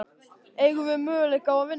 Eigum við möguleika á að vinna?